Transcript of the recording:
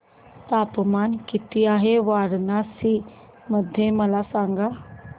तापमान किती आहे वाराणसी मध्ये मला सांगा